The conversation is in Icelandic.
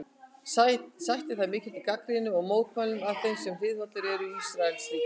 Sætti það mikilli gagnrýni og mótmælum af þeim sem hliðhollir eru Ísraelsríki.